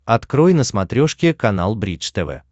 открой на смотрешке канал бридж тв